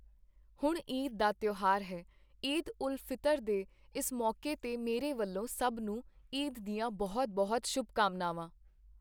ਹੁਣ ਈਦ ਦਾ ਤਿਓਹਾਰ ਹੈ, ਈਦ ਉਲ ਫਿਤਰ ਦੇ ਇਸ ਮੌਕੇ ਤੇ ਮੇਰੇ ਵੱਲੋਂ ਸਭ ਨੂੰ ਈਦ ਦੀਆਂ ਬਹੁਤ ਬਹੁਤ ਸ਼ੁਭਕਾਮਨਾਵਾਂ।